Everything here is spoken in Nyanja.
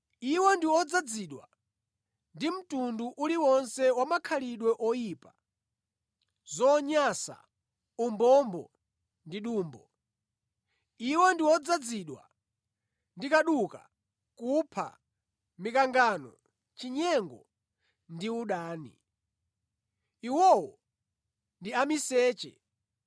Iwo ndi odzazidwa ndi mtundu uliwonse wa makhalidwe oyipa, zonyansa, umbombo ndi dumbo. Iwo ndi odzazidwa ndi kaduka, kupha, mikangano, chinyengo ndi udani. Iwowo ndi amiseche,